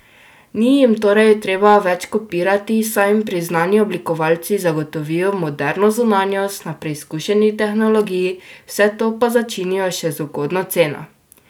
Ni jim torej treba več kopirati, saj jim priznani oblikovalci zagotovijo moderno zunanjost na preizkušeni tehnologiji, vse to pa začinijo še z ugodno ceno.